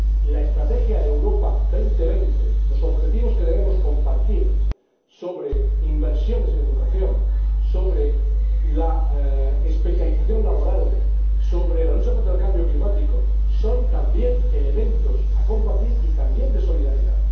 La Estrategia Europa 2020, los objetivos que debemos compartir sobre inversiones en educación, sobre la especialización laboral y sobre la lucha contra el cambio climático son también elementos a compartir y también de solidaridad.